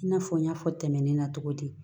I n'a fɔ n y'a fɔ tɛmɛnen na cogo di